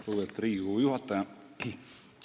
Lugupeetud Riigikogu juhataja!